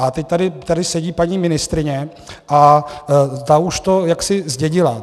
A teď tady sedí paní ministryně a ta už to jaksi zdědila.